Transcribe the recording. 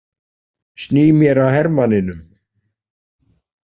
Sný mér að hermanninum.